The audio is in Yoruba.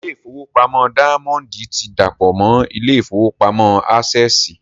Ilé ìfowópamọ́ dáyámọ́ndì ti dàpọ̀ mọ́ ilé ìfowópamọ́ ásẹ̀sì